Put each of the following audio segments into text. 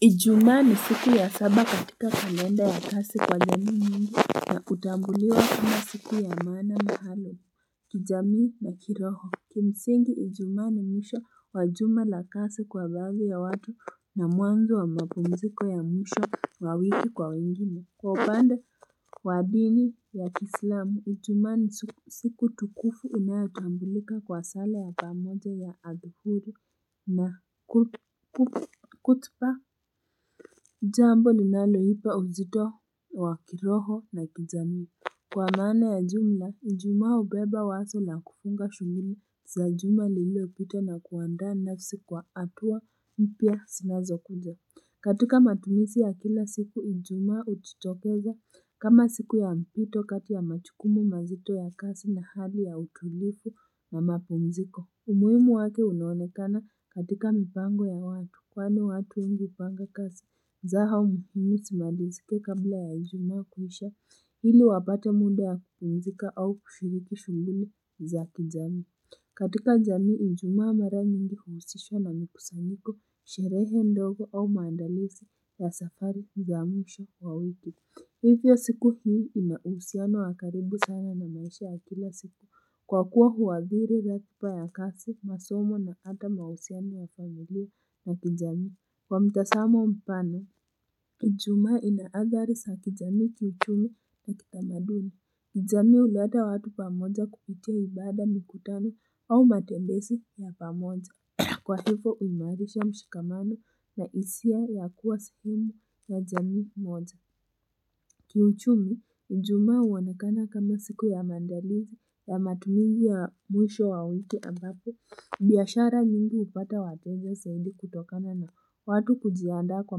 Ijumaa ni siku ya saba katika kalenda ya kasi kwa jamii mingi na hutambuliwa kama siku ya maana mahali kijamii na kiroho Kimsingi ijumaa ni mwisho wa juma la kasi kwa baadhi ya watu na mwanzo wa mapumziko ya mwisho wa wiki kwa wengine Kwa upande wa dini ya kiislamu, ijumaa ni siku tukufu inayotambulika kwa sala ya pamoja ya adhuhuri na khutba. Jambo ninaloipa uzito wa kiroho na kijamii. Kwa maana ya jumla, ijumaa hubeba waso la kufunga shughuli za jumla lililopita na kuandaa nafsi kwa hatua mpya sinazokuja. Katika matumizi ya kila siku, Ijumaa hujitokeza. Kama siku ya mpito kati ya machukumu mazito ya kasi na hali ya utulifu na mapumziko umuimu wake unaonekana katika mipango ya watu kwani watu wengi hupanga kasi zao muhimu simalizike kabla ya ijumaa kuisha ili wapate muda ya kupumzika au kushiriki shughuli za kijamii katika jamii ijumaa mara nyingi huhusishwa na mikusanyiko sherehe ndogo au maandalisi ya safari za mwisho wa wiki Hivyo siku hii ina uhusiano wa karibu sana na maisha ya kila siku kwa kuwa huathiri ratiba ya kasi, masomo na ata mausiano ya familia na kijamii. Kwa mtasamo mpana, Ijumaa ina athari sa kijamii kiuchumi na kitamaduni. Jami huleta watu pamoja kupitia ibada mikutano au matembesi ya pamoja. Kwa hifo uimarisha mshikamano na hisia ya kuwa sehemu ya jamii moja. Kiuchumi, Ijumaa huonekana kama siku ya maandalizi ya matumizi ya mwisho wa wiki ambapo, biashara nyingi hupata wateja saidi kutokana na watu kujiandaa kwa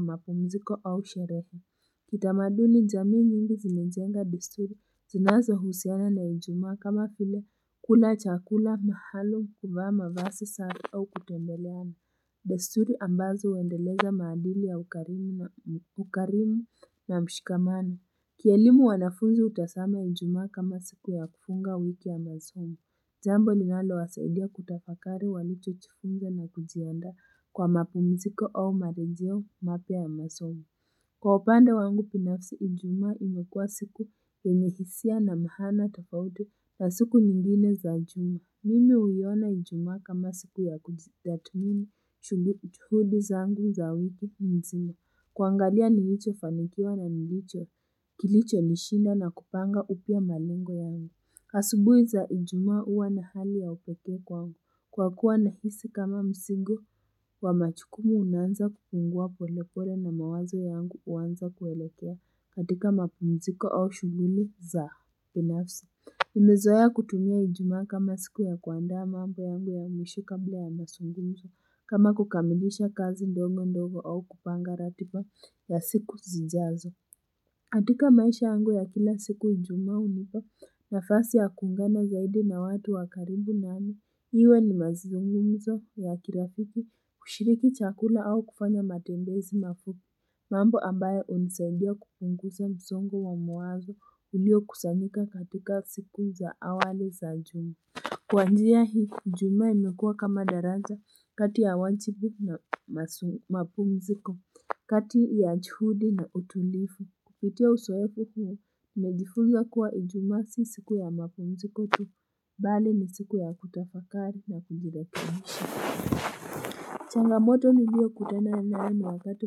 mapumziko au sherehe. Kitamaduni jamii nyingi zinajenga desturi, zinazohusiana na Ijumaa kama file kula chakula maalum kuvaa mavasi safi au kutembeleana. Desturi ambazo huendeleza maadili ya ukarimu na mshikamano. Kielimu wanafunzi hutasama Ijumaa kama siku ya kufunga wiki ya masomo Jambo linalowasaidia kutafakari walichochifunza na kujiandaa kwa mapumziko au marejeo mapya ya masomo. Kwa upande wangu binafsi Ijumaa imekuwa siku yenye hisia na maana tofauti ya siku nyingine za juma. Mimi huiona Ijumaa kama siku ya kujitathmini. Chuhudi zangu za wiki nzima kuangalia nilichofanikiwa na nilicho kilichonishinda na kupanga upya malengo yangu asubui za Ijumaa uwa na hali ya upekee kwangu kwa kuwa nahisi kama msigo wa machukumu unaanza kupungua polepole na mawazo yangu uanza kuelekea katika mapumziko au shughuli za pinafsi Nimezoea kutumia Ijumaa kama siku ya kuandaa mambo yangu ya mwisho kabla ya masungumzo kama kukamilisha kazi ndongo ndogo au kupanga ratipa ya siku zijazo katika maisha yangu ya kila siku Ijumaa hunipa nafasi ya kuungana zaidi na watu wa karibu nami Iwe ni mazungumzo ya kirafiki kushiriki chakula au kufanya matembezi mafupi mambo ambayo hunisaidia kupunguza msongo wa mawazo uliokusanyika katika siku za awali za juma Kwa njia hii Ijumaa imekuwa kama daraza kati ya wanchipi na mapumziko kati ya chuhudi na utulifu kupitia usoefu huu Najifunza kuwa Ijumaa si siku ya mapumziko tu bali ni siku ya kutafakari na kujirekebisha changamoto niliyokutana nayo ni wakati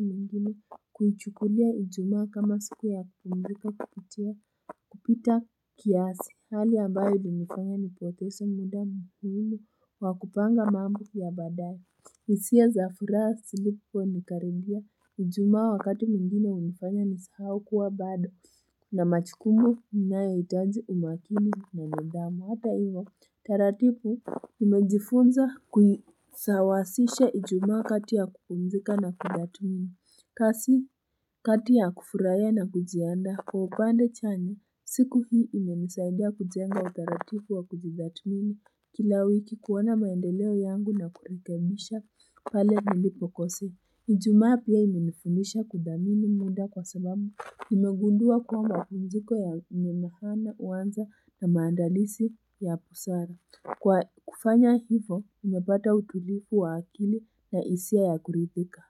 mwengine kuichukulia Ijumaa kama siku ya kupumzika kupitia kupita kiasi hali ambayo ilinifanya nipotese mda muhimu wa kupanga mambo ya baadaye hisia za furaha siliponikaribia Ijumaa wakati mwingine hunifanya nisahau kuwa bado na machikumu ninayoitaji umakini na nidhamu hata iyo taratibu nimejifunza kuisawasisha ijumaa kati ya kupumzika na kudhathmini. Kasi kati ya kufuraia na kujiandaa kwa upande chanya, siku hii imenisaidia kujenga utaratibu wa kujidhatmini. Kila wiki kuona maendeleo yangu na kurekebisha pale nilipokosea Ijumaa pia imenifundisha kuthamini muda kwa sababu. Nimegundua kuwa mapumziko yenye mahana huanza na maandalisi ya pusara. Kwa kufanya hivo nimepata utulivu wa akili na hisia ya kuridhika.